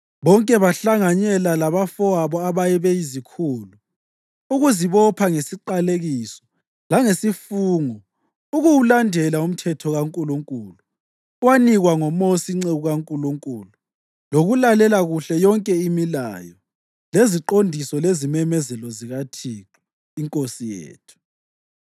bonke bahlanganyela labafowabo ababeyizikhulu, ukuzibopha ngesiqalekiso langesifungo ukuwulandela uMthetho kaNkulunkulu owanikwa ngoMosi inceku kaNkulunkulu lokulalela kuhle yonke imilayo, leziqondiso lezimemezelo zikaThixo iNkosi yethu.